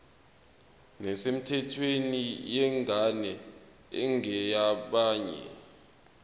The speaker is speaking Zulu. nesemthethweni yengane engeyabanye